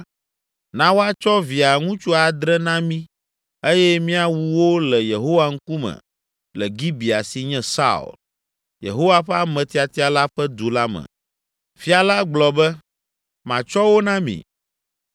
na woatsɔ via ŋutsu adre na mí eye míawu wo le Yehowa ŋkume le Gibea si nye Saul, Yehowa ƒe ame tiatia la ƒe du la me.” Fia la gblɔ be, “Matsɔ wo na mi.”